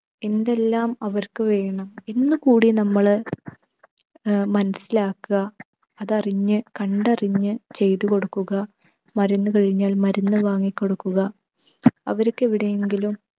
എന്തെല്ലാം അവർക്ക് വേണം എന്ന് കൂടി നമ്മൾ ഏർ മനസിലാക്കുക. അതറിഞ്ഞ് കണ്ടറിഞ്ഞ് ചെയ്തു കൊടുക്കുക. മരുന്ന് കഴിഞ്ഞാൽ മരുന്ന് വാങ്ങി കൊടുക്കുക. അവർക്ക് എവിടെയെങ്കിലും